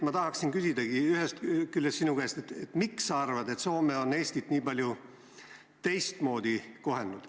Ma tahangi sinu käest küsida, miks Soome on Eestit sinu arvates nii palju teistmoodi kohelnud.